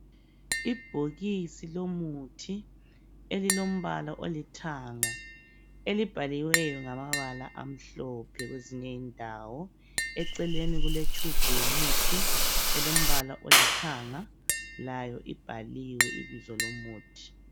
Ibhokisi lomuthi elilombala olithanga elibhaliweyo ngamabala amhlophe kwezinye indawo eceleni kule tshubhu yomuthi elombala olithanga layo ibhaliwe ibizo lomuthi.